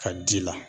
Ka ji la